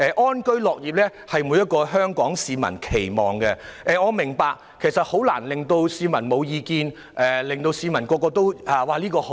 安居樂業是每一名香港市民的期望，但我也明白很難令所有市民毫無異議，一致讚好。